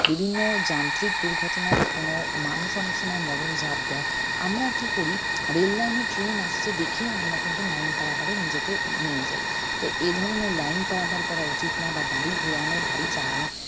বিভিন্ন যান্ত্রিক দুর্ঘটনা বা কোনো মানুষ অনেক সময় মরন ঝাপ দেয় আমরা কী করি rail line এ train আসতে দেখেও আমরা কিন্তু line পারাপারে নিজেকে নিয়ে যাই তা এধরনের line পারাপার করা উচিত না বা গাড়ি ঘুরানো বা গাড়ি চালানো